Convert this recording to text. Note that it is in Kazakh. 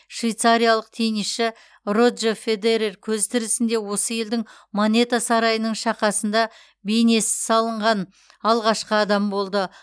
швейцариялық теннисші роджер федерер көзі тірісінде осы елдің монета сарайының шақасында бейнесі салынған алғашқы адам болды